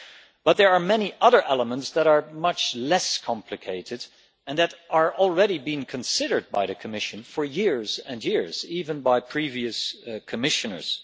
But there are many other elements that are much less complicated and that have already been considered by the Commission for years and years, even by previous commissioners.